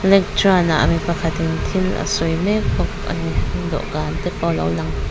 lektarn ah mi pakhatin thil a sawi mek bawk a ni dawhkan te pawh lo lang.